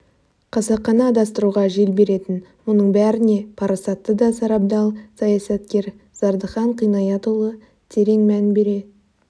қасақана адастыруға жел беретін мұның бәріне парасатты да сарабдал саясаткер зардыхан қинаятұлы терең мән бере